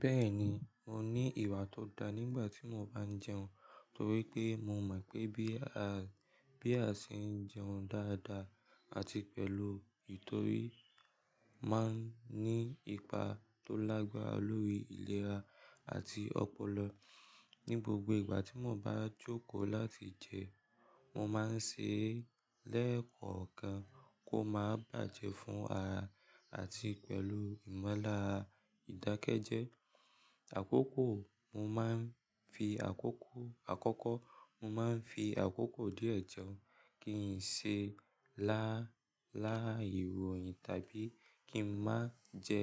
Bẹ́ẹ̀ni, mo ní ìwà tó da nígbà tí mo bá ń jẹun torí pé mo mọ̀ pé bí a, bí a ṣe ń jẹun dáadáa àti pẹ̀lú ìtorí máa ń ní ipa tó lágbára lórí ìlera àti ọpọlọ. Ni gbogbo ìgbà tí mo bá jókòó láti jẹ, mo máa ń ṣe lẹ́ẹ̀kọ̀ọ́ kan kó má bàjẹ́ fún ara àti pẹ̀lú ìmọ́lára ìdákẹ́jẹ. Àkókò, mo máa ń fi àkókò, àkọ́kọ́, mo máa ń fi àkókò díẹ̀ jẹun kí n ṣe lá, láàyè wòyin tàbí kí n má jẹ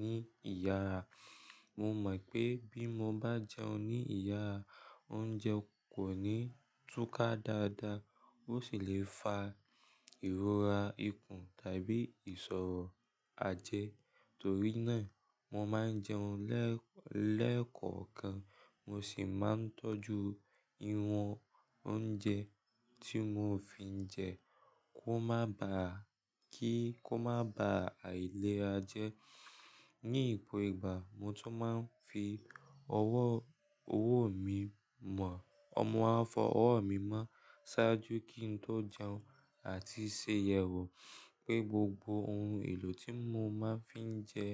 ní ìyàrá. Mo mọ̀ pé bí mo bá jẹun ní ìyàrá, oúnjẹ kò ní túká dáadáa, ó sì le fa ìrora ikùn tàbí ìṣòro àjẹ́. Torí náà, mo máa ń jẹun lẹ́ẹ̀kọ̀ọ́ kan, mo sì máa ń tọ́jú ìwọ̀n oúnjẹ tí mo fi ń jẹ kí ó má bàá, kí ó má bàá àìlera jẹ. Ni ipò ìgbà mo tún máa ń fi ọwọ́, ọwọ́ mi mọ, ọmọ á fọ ọwọ́ mi mọ́ ṣáájú kí n tó jẹun àti ṣe yẹ̀wò pé gbogbo ohun èlò tí mo máa ń fi jẹ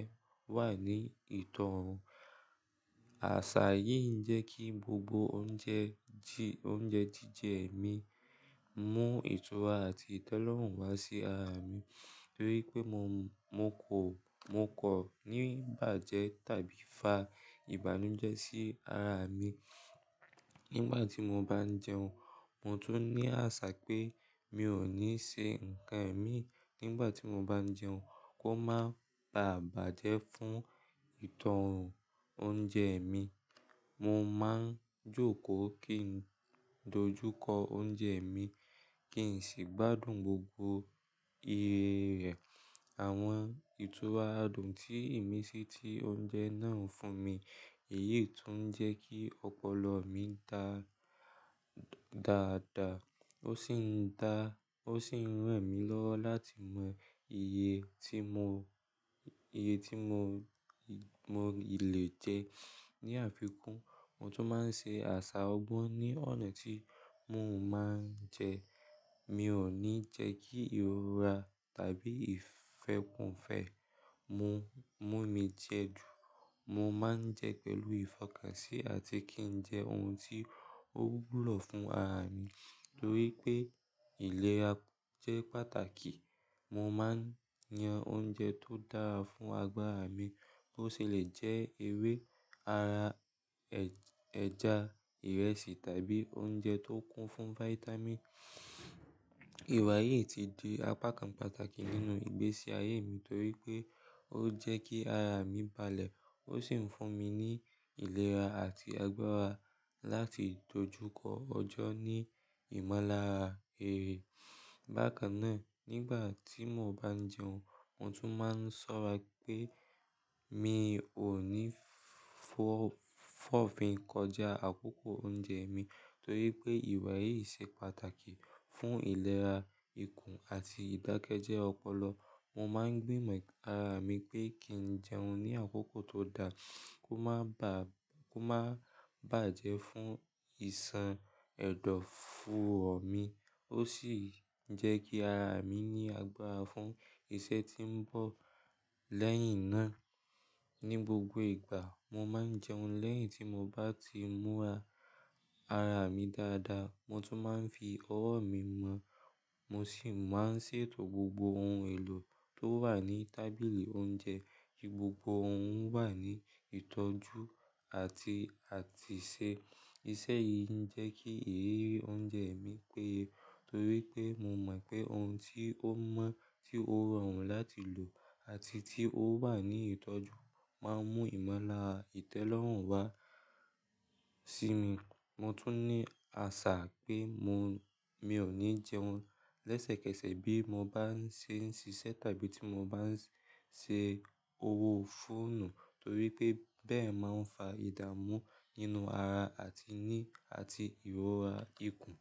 wà ní ìtọ́run. Àṣà yìí ń jẹ́ kí gbogbo oúnjẹ jí, oúnjẹ jíjẹ mi mú ìtura àti ìtẹ́lọ́rùn wá sí ara mi torí pé mo, mo kò, mo kọ̀ ní bàjẹ́ tàbí fa ìbànújẹ́ sí ara mi. Nígbà tí mo bá ń jẹun, mo tún ní àṣà pé mi ò ní se ǹkan mi nígbà tí mo bá ń jẹun kó má bà, bá bàjẹ́ fún ìtọ́run oúnjẹ mi. Mo máa ń jókòó kí n dojú kọ oúnjẹ mi kí n sì gbádùn gbogbo iye rẹ̀. Àwọn ìtura adùn tí ìmísí ti oúnjẹ náà ń fún mi, èyí tún ń jẹ́ kí ọpọlọ mi dà dáadáa. Ó sì ń dà, ó sì ń ràn mí lọ́wọ́ láti mọ iye tí mo, iye tí mo, mo lè jẹ. Ni àfikún, mo tún máa ń ṣe àṣà ọgbọ́n ní ọ̀nà tí mò ń máa ń jẹ. Mi ò ní jẹ́ kí ìrora tàbí ìfẹ́kùn fẹ́ mú, mú mi jẹ dù. Mo máa ń jẹ pẹ̀lú ìfọkànsí àti kí n jẹ ohun tí ó wúlò fún ara mi torí pé ìlera jẹ́ pàtàkì. Mo máa ń yan oúnjẹ tó dára fún agbára mi, bó sì lè jẹ ewé ara, ẹja, ìrẹsì tàbí oúnjẹ tó kún fún fáítámì. Ìwà yìí ti di apá kan pàtàkì nínú ìgbésí ayé mi torí pé ó jẹ́ kí ara mi balẹ̀, ó sì ń fún mi ní ìlera àti agbára láti dojúkọ ọjọ́ ní ìmọ́lára eré. Bákan náà, nígbà tí mo bá ń jẹun, mo tún máa ń ṣọ́ra pé mi ò ní fọ́, fọ́fin kọjá àkókò oúnjẹ mi torí pé ìwà yìí ṣe pàtàkì fún ìlera ikùn àti ìdákẹ́jẹ́ ọpọlọ. Mo máa ń gbìmọ̀ ara mi pé kí n jẹun ní àkókò tó dá, kó má bà, kó má bàjẹ́ fún ìsan ẹdọfóò mi. Ó sì ń jẹ́ kí ara mi ní agbára fún iṣẹ́ tí ń bọ̀ lẹ́yìn náà. Ni gbogbo ìgbà, mo máa ń jẹun lẹ́yìn tí mo bá ti múra ara mi dáadáa. Mo tún máa ń fi ọwọ́ mi mọ́, mo sì máa ń ṣètò gbogbo ohun èlò tó wà ní tábìlì oúnjẹ kí gbogbo ohun wà ní ìtọ́jú àti, àti ṣe. Iṣẹ́ yìí ń jẹ́ kí èrè oúnjẹ mi péye torí pé mo mọ̀ pé ohun tí ó mọ́, tí ó rọrùn láti lò àti tí ó wà ní ìtọ́jú máa mú ìmọ́lára ìtẹ́lọ́rùn wá sí mi. Mo tún ní àṣà pé mo, mi ò ní jẹun lẹ́sẹ̀kẹsẹ̀ bí mo bá ń ṣe ń ṣiṣẹ́ tàbí tí mo bá ń ṣe owó fóònù torí pé bẹ́ẹ̀ máa ń fa ìdàmú nínú ara àti ní, àti ìrora ikùn.